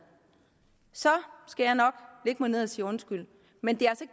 så skal jeg nok lægge mig ned og sige undskyld men det